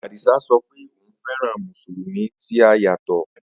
Adisa sọ pé òun fẹ́ràn Mùsùlùmí tí a yà sọ́tọ̀